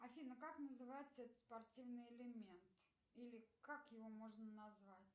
афина как называется этот спортивный элемент или как его можно назвать